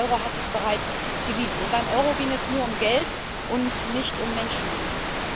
Der Euro hat es bereits bewiesen und beim Euro ging es nur um Geld und nicht um Menschenleben.